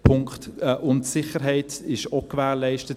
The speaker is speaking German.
Auch die Sicherheit ist gewährleistet.